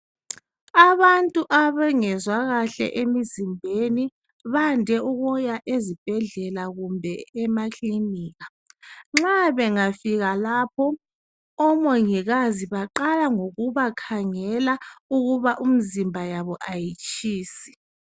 Abantu abangezwa kahle emzimbeni bayande ukubuya ezibhedlela kumbe emakilika. Nxa bangafika lapho, omungikazi baqala ngokubakangela ukuba imizimba yabo ayitshisi.